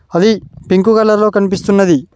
అది pink colour లో కనిపిస్తున్నది.